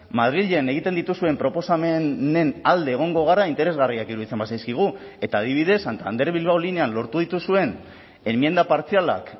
madrilen egiten dituzuen proposamenen alde egongo gara interesgarriak iruditzen bazaizkigu eta adibidez santander bilbao linean lortu dituzuen enmienda partzialak